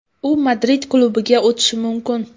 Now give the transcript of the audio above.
U Madrid klubiga o‘tishi mumkin.